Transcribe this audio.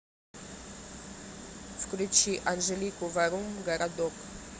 включи анжелику варум городок